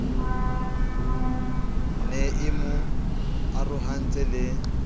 ne e mo arohantse le